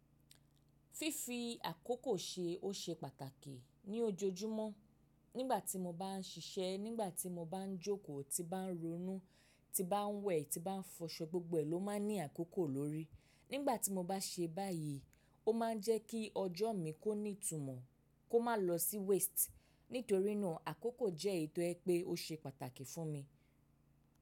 Fífi àkókò ṣe o ṣe pàtàkì ní ojoojúmọ́. Nígbà tí mo bá ń siṣẹ́, nígbà tí mo bá ń jókòó, tí bá ń ronú, tí bá ń wẹ̀, tí bá ń fọṣọ, gbogbo èlò máa ń ní àkókò lórí. Nígbà tí mo bá ṣe báyìí, ó ma ń jẹ́ kí ọjọ́ mi kó ní ìtumọ̀, kó má lọ sí waste. Nítorínà àkókò jẹ́ èyi tò jẹ pé o ṣe pàtàkì fún mi.